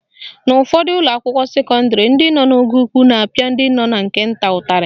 N'ụfọdụ ụlọakwụkwọ sekọndịrị, ndị nọ n'ogo ukwu na-apịa ndị nọ na nke nta ụtarị